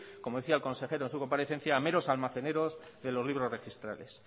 como decía el consejero en su comparecencia a meros almaceneros de los libros registrales